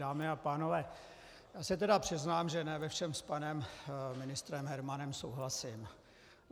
Dámy a pánové, já se tedy přiznám, že ne ve všem s panem ministrem Hermanem souhlasím.